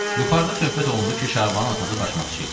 Yuxarıda söhbət olundu ki, Şabanın atası başmaqçı idi.